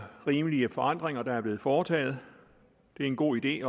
rimelige forandringer der er blevet foretaget det er en god idé